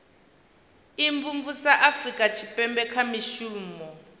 imvumvusa afurika tshipembe kha mushumo